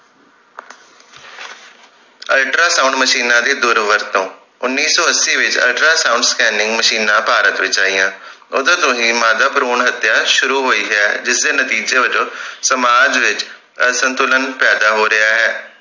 ultra sound ਮਸ਼ੀਨਾਂ ਦੀ ਦੂਰ ਵਰਤੋਂ ਉੱਨੀ ਸੋ ਅੱਸੀ ਵਿਚ ultra sound scanning ਮਸ਼ੀਨਾਂ ਭਾਰਤ ਵਿਚ ਆਈਆਂ ਓਦੋਂ ਤੋਂ ਹੀ ਮਾਦਾ ਭਰੂਣ ਹਤਿਆ ਸ਼ੁਰੂ ਹੋਈ ਹੈ ਜਿਸ ਦੇ ਨਤੀਜੇ ਵੱਜੋਂ ਸਮਾਜ ਵਿਚ ਅਸੰਤੁਲਨ ਪੈਦਾ ਹੋ ਰਿਹੇ